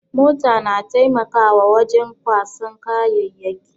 Mota na taimakawa wajen kwasan kayayyaki.